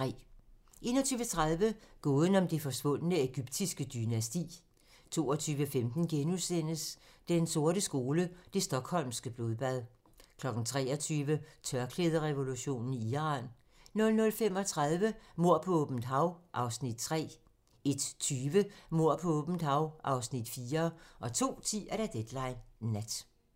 21:30: Gåden om det forsvundne egyptiske dynasti 22:15: Den sorte skole: Det Stockholmske Blodbad * 23:00: Tørklæderevolutionen i Iran 00:35: Mord på åbent hav (Afs. 3) 01:20: Mord på åbent hav (Afs. 4) 02:10: Deadline nat